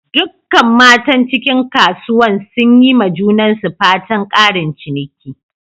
Dukkan matan cikin kasuwan sun yi ma junansu fatan"ƙarin ciniki."